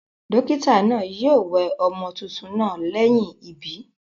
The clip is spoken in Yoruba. Dókítà naa yio we ọmọ tuntun naa léyìn ìbí